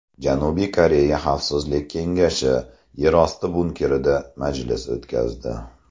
Janubiy Koreya xavfsizlik kengashi yerosti bunkerida majlis o‘tkazdi.